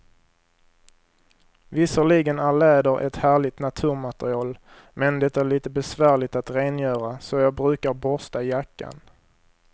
Visserligen är läder ett härligt naturmaterial, men det är lite besvärligt att rengöra, så jag brukar borsta jackan.